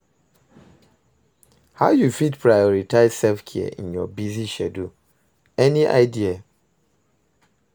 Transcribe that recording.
How you fit prioritize self-care in your busy schedule, any idea?